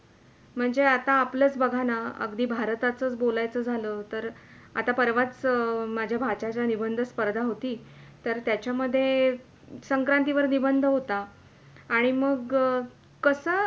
म्हणजे आता आपलेच बघा ना अगदी भारतातच बोलायचं झाल तरं. तर परवाच माझ्या भांच्याची निबंध स्पर्धा होती. तर त्याचा मधे संक्रांतीवार निबंध होता. आणि मगं कसं